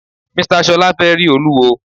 Mr Ṣọla fẹ rí Olúwo.